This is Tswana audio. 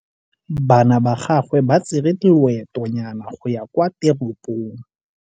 Bana ba gagwe ba tsere loêtônyana go ya kwa teropong.